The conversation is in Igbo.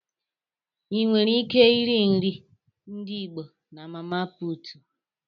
Ịnwere ike iri nri ndị Igbo na mama puutu.